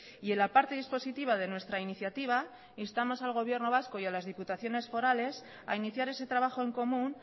y en la parte dispositiva de nuestra iniciativa instamos al gobierno vasco y a las diputaciones forales a iniciar ese trabajo en común